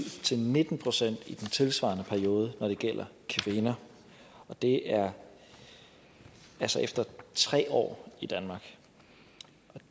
til nitten procent i den tilsvarende periode når det gælder kvinder og det er altså efter tre år i danmark